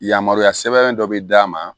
Yamaruya sɛbɛn dɔ bi d'a ma